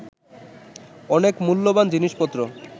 অনেক মূল্যবান জিনিসপত্র